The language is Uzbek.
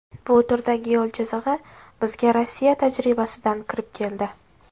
Bu turdagi yo‘l chizig‘i bizga Rossiya tajribasidan kirib keldi.